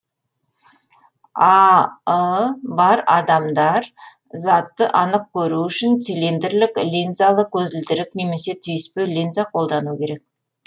а ы бар адамдар затты анық көру үшін цилиндрлік линзалы көзілдірік немесе түйіспе линза қолдану керек